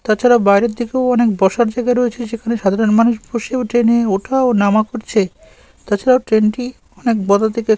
তাছাড়া বাইরে থেকেও অনেক বসার জায়গা রয়েছে সেখানে সাধারণ মানুষ বসেও ট্রেনে ওঠাও নামা করছে। তাছাড়া ট্রেনটি অনেক বড় থেকে --